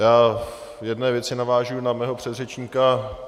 Já v jedné věci navážu na svého předřečníka.